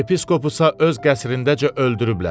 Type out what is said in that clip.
Yepiskopu isə öz qəsrindəcə öldürüblər.